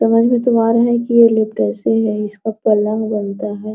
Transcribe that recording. ये लोग कैसे हैं इसका पलंग बनता है ।